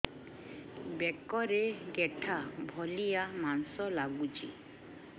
ବେକରେ ଗେଟା ଭଳିଆ ମାଂସ ଲାଗୁଚି